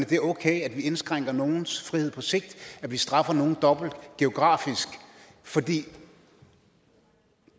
det er okay at vi indskrænker nogles frihed på sigt at vi straffer nogle dobbelt geografisk fordi de